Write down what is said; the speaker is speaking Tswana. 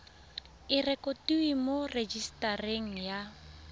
e rekotiwe mo rejisetareng ya